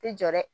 Tɛ jɔ dɛ